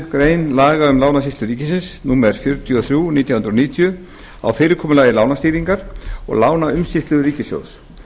grein laga um lánasýslu ríkisins númer fjörutíu og þrjú nítján hundruð níutíu á fyrirkomulagi lánastýringar og lánaumsýslu ríkissjóðs